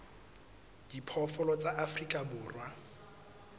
a diphoofolo tsa afrika borwa